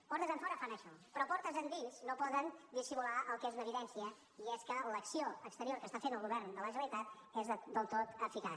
portes enfora fan això però portes endins no poden dissimular el que és una evidència i és que l’acció exterior que està fent el govern de la generalitat és del tot eficaç